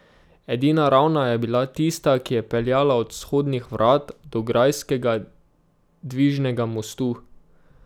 Edina ravna je bila tista, ki je peljala od vzhodnih vrat do grajskega dvižnega mostu.